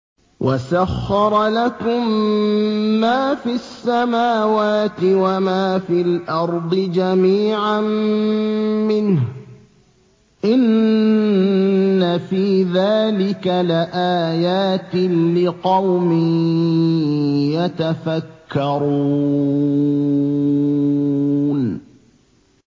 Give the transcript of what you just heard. وَسَخَّرَ لَكُم مَّا فِي السَّمَاوَاتِ وَمَا فِي الْأَرْضِ جَمِيعًا مِّنْهُ ۚ إِنَّ فِي ذَٰلِكَ لَآيَاتٍ لِّقَوْمٍ يَتَفَكَّرُونَ